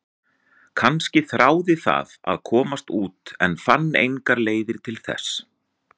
Kannski þráði það að komast út en fann engar leiðir til þess?